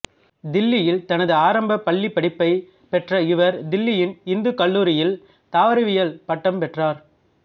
தில்லியில் தனது ஆரம்ப பள்ளிப்படிப்பைப் பெற்ற இவர் தில்லியின் இந்துக் கல்லூரியில் தாவரவியலில் பட்டம் பெற்றார்